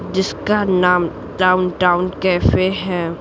जिसका नाम downtown cafe है।